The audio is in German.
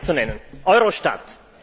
Um nur ein Beispiel zu nennen Eurostat.